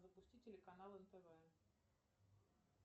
запусти телеканал нтв